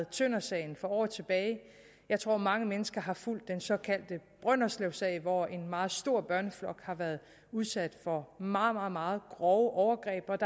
tøndersagen for år tilbage jeg tror at mange mennesker har fulgt den såkaldte brønderslevsag hvor en meget stor børneflok har været udsat for meget meget grove overgreb der er